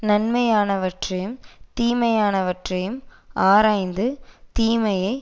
நன்மையானவற்றையும் தீமையானவற்றையும் ஆராய்ந்து தீமையை